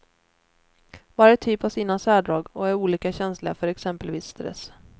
Varje typ har sina särdrag och är olika känsliga för exempelvis stress.